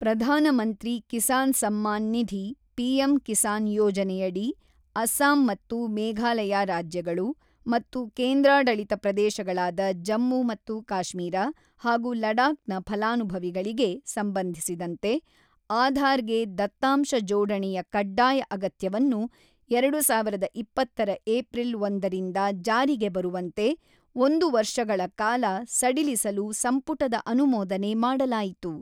ಪ್ರಧಾನ ಮಂತ್ರಿ ಕಿಸಾನ್ ಸಮ್ಮಾನ್ ನಿಧಿ ಪಿಎಂ ಕಿಸಾನ್ ಯೋಜನೆಯಡಿ ಅಸ್ಸಾಂ ಮತ್ತು ಮೇಘಾಲಯ ರಾಜ್ಯಗಳು ಮತ್ತು ಕೇಂದ್ರಾಡಳಿತ ಪ್ರದೇಶಗಳಾದ ಜಮ್ಮು ಮತ್ತು ಕಾಶ್ಮೀರ ಹಾಗೂ ಲಡಾಕ್ ನ ಫಲಾನುಭವಿಗಳಿಗೆ ಸಂಬಂಧಿಸಿದಂತೆ ಆಧಾರ್ ಗೆ ದತ್ತಾಂಶ ಜೋಡಣೆಯ ಕಡ್ಡಾಯ ಅಗತ್ಯವನ್ನು ಎರಡು ಸಾವಿರದ ಇಪ್ಪತ್ತರ ಏಪ್ರಿಲ್ ಒಂದರಿಂದ ಜಾರಿಗೆ ಬರುವಂತೆ ಒಂದು ವರ್ಷಗಳ ಕಾಲ ಸಡಿಲಿಸಲು ಸಂಪುಟದ ಅನುಮೋದನೆ ಮಾಡಲಾಯಿತು.